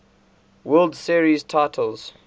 world series titles